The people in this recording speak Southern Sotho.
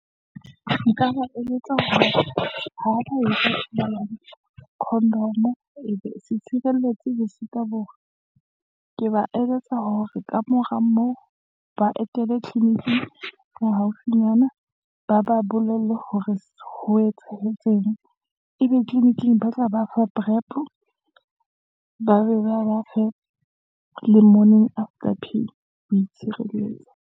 Nka ba eletsa hore, condom e be setshireletsi le . ke ba eletsa hore ka mora moo , ba etele tleniking haufinyana, ba ba bolelle hore ho etsahetseng. Ebe tleliniking ba tla ba fa prep-o, ba be ba ba fe, le Morning after pill, ho itshireletsa.